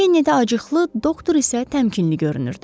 Kennedy acıqlı, doktor isə təmkinli görünürdü.